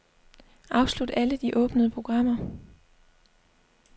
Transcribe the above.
Afslut alle de åbne programmer.